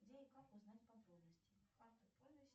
где и как узнать подробности